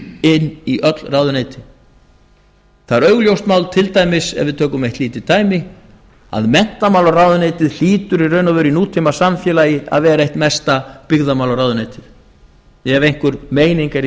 inn í öll ráðuneytin það er augljóst mál til dæmis ef við tökum eitt lítið dæmi að menntamálaráðuneytið hlýtur í raun og veru í nútímasamfélagi að vera eitt mesta byggðamálaráðuneytið ef einhver meining er í